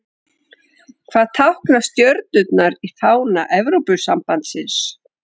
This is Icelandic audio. Hvað tákna stjörnurnar í fána Evrópusambandsins?